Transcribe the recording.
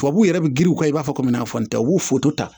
Tubabuw yɛrɛ bɛ giriw kɛ i b'a fɔ komi an tɛ u b'u foto ta